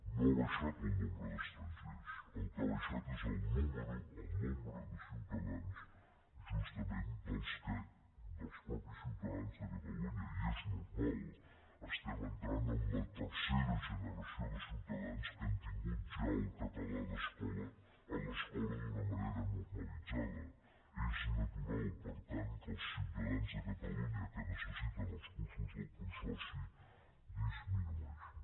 no ha baixat el nombre d’estrangers el que ha baixat és el nombre de ciutadans justament dels mateixos ciutadans de catalunya i és normal estem entrant en la tercera generació de ciutadans que han tingut ja el català a l’escola d’una manera normalitzada és natural per tant que els ciutadans de catalunya que necessiten els cursos del consorci disminueixi